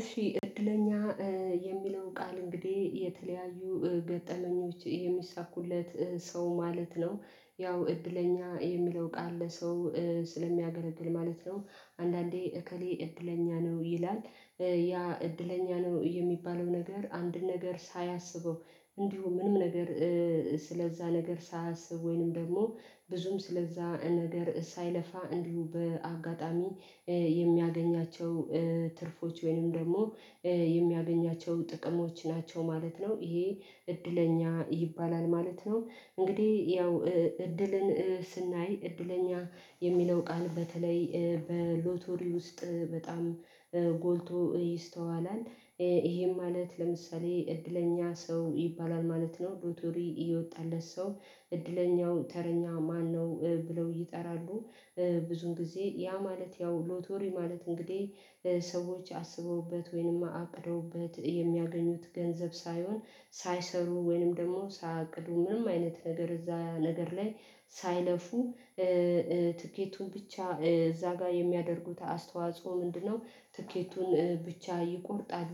እሺ እድለኛ የሚለውን ቃል እንግዲህ የተለያዩ ገጠመኞች የሚሳኩለት ሰው ማለት ነው። ያው እድለኛ የሚለው ቃል ለሰው ስለሚያገለግል ማለት ነው። አንዳንዴ እከሌ እድለኛ ነው ይላል። ያ እድለኛ ነው የሚባለው ነገር አንድን ነገር ሳያስበው እንዲሁ ምንም ነገር ስለዛ ነገር ሳያስብ ወይም ደግሞ ብዙም ስለዛ ነገር ሳይለፋ እንዲሁ በአጋጣሚ የሚያገኛቸው ትርፎች ወይንም ደግሞ የሚያገኛቸው ጥቅሞች ናቸው ማለት ነው ይሄ እድለኛ ይባላል ማለት ነው። እንግዲህ ያው እድልን ስናይ እድለኛ የሚለው ቃል በተለይ በሎቶሪ ውስጥ በጣም ጎልቶ ይስተዋላል። ይሄም ማለት ለምሳሌ እድለኛ ሰው ይባላል ማለት ነው ሎተሪ እየወጣለት ሰው እድለኛው ተረኛ ማነው ብለው ይጠራሉ። ብዙን ጊዜ ያ ማለት ያው ሎተሪ ማለት እንግዲህ ሰዎች አስበውበት ወይንም አቅደውበት የሚያገኙት ገንዘብ ሳይሆን ሳይሰሩ ወይንም ደግሞ ሳያቅዱ ምንም አይነት ነገር እዛ ነገር ላይ ሳይለፉ ትኬቱን ብቻ እዛ ጋር የሚያደርጉት አስተዋጽኦ ምንድነው? ትኬቱን ብቻ ይቆርጣሉ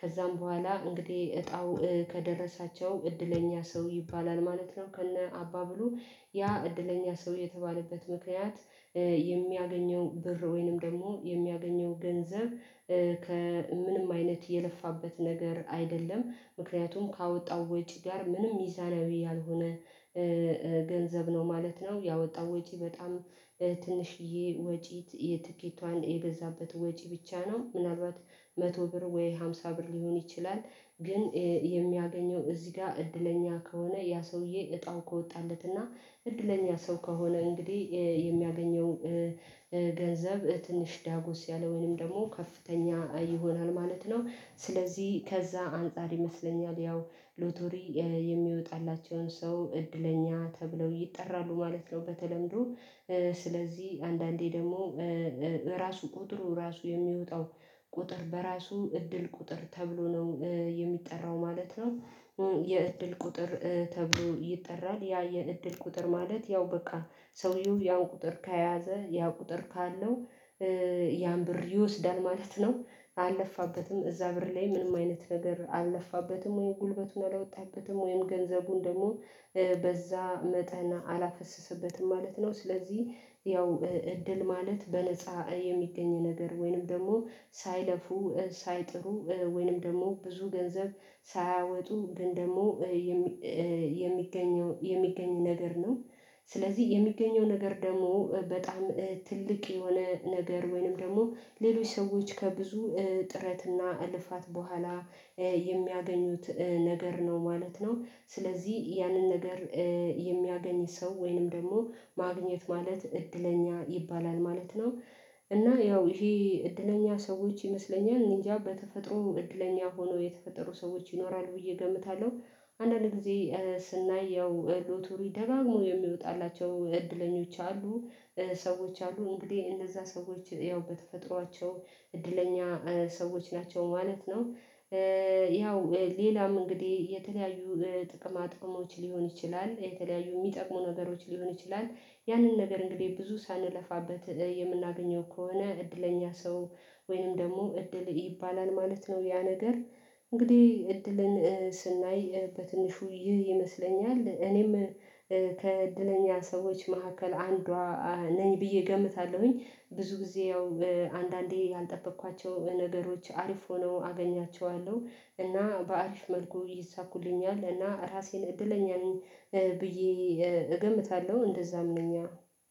ከዛም በኋላ እንግዲህ እጣው ከደረሳቸው እድለኛ ሰው ይባላል ማለት ነው። ከነ አባባሉ ያ እድለኛ ሰው የተባለበት ምክንያት የሚያገኘው ብር ወይንም ደግሞ የሚያገኘው ገንዘብ ከምንም አይነት የለፋበት ነገር አይደለም ምክንያቱም ካወጣው ወጪ ጋር ምንም ሚዛናዊ ያልሆነ ገንዘብ ነው ማለት ነው። ያወጣው ወጪ በጣም ትንሽዬ ወጪት የትኬቷን የገዛበት ወጪ ብቻ ነው ምናልባት መቶ ብር ወይ ሃምሳ ብር ሊሆን ይችላል። ግን የሚያገኘው እዚህ ጋር እድለኛ ከሆነ ያ ሰውዬ እጣው ከወጣለት እና እድለኛ ሰው ከሆነ እንግዲህ የሚያገኘው ገንዘብ ትንሽ ዳጎስ ያለ ወይንም ደግሞ ከፍተኛ ይሆናል ማለት ነው። ስለዚህ ከዛ አንፃር ይመስለኛል ያው ሎተሪ የሚወጣላቸውን ሰው እድለኛ ተብለው ይጠራሉ ማለት ነው። በተለምዶ ስለዚህ አንዳንዴ ደግሞ ራሱ ቁጥሩ ራሱ የሚወጣው ቁጥር በራሱ እድል ቁጥር ተብሎ ነው የሚጠራው ማለት ነው። የእድል ቁጥር ተብሎ ይጠራል ያ የእድል ቁጥር ማለት ያው በቃ ሰውየው ያው ቁጥር ከያዘ ያው ቁጥር ካለው ያን ብር ይወስዳል ማለት ነው። አለፋበትም እዛ ብር ላይ ምንም አይነት ነገር አለፋበትም ወይ ጉልበቱን አላወጣበትም ወይም ገንዘቡን ደግሞ በዛ መጠን አላፈሰሰበትም ማለት ነው። ስለዚህ ያው እድል ማለት በነፃ የሚገኝ ነገር ወይንም ደግሞ ሳይለፉ ሳይጥሩ ወይንም ደግሞ ብዙ ገንዘብ ሳያወጡ ግን ደግሞ የሚገኘው የሚገኘው ነገር ነው። ስለዚህ የሚገኘው ነገር ደግሞ በጣም ትልቅ የሆነ ነገር ወይንም ደግሞ ሌሎች ሰዎች ከብዙ ጥረትና እልፋት በኋላ የሚያገኙት ነገር ነው ማለት ነው። ስለዚህ ያንን ነገር የሚያገኝ ሰው ወይንም ደግሞ ማግኘት ማለት እድለኛ ይባላል ማለት ነው። እና ያው ይሄ እድለኛ ሰዎች ይመስለኛል እኔ አንጃ በተፈጥሮ እድለኛ ሆኖ የተፈጠሩ ሰዎች ይኖራል ብዬ እገምታለሁ። አንዳንዴ ስናየው ሎተሪ ደጋግሞ የሚወጣላቸው እድለኞች አሉ ሰዎች አሉ እንግዲህ እንደዛ ሰዎች ያው በተፈጥሯቸው እድለኛ ሰዎች ናቸው ማለት ነው። ያው ሌላም እንግዲህ የተለያዩ ጥቅማ ጥቅሞች ሊሆን ይችላል የተለያዩ የሚጠቅሙ ነገሮች ሊሆን ይችላል። ያንን ነገር እንግዲህ ብዙ ሳንለፋበት የምናገኘው ከሆነ እድለኛ ሰው ወይንም ደግሞ እድል ይባላል ማለት ነው። ያ ነገር እንግዲህ እድልን ስናይ በትንሹ ይህ ይመስለኛል እኔም ከእድለኛ ሰዎች መካከል አንዷ ነኝ ብዬ እገምታለሁኝ። ብዙ ጊዜ አንዳንዴ ያልጠበኳቸው ነገሮች አሪፍ ሆነው አገኛቸዋለሁ እና በአሪፍ መልኩ ይሳኩልኛል እና ራሴን እድለኛ ነኝ። ብዬ እገምታለሁ እንደዛም ነኛ።